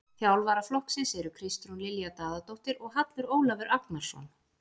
Þjálfara flokksins eru Kristrún Lilja Daðadóttir og Hallur Ólafur Agnarsson.